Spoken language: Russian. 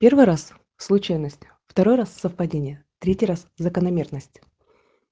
первый раз случайность второй раз совпадение третий раз закономерность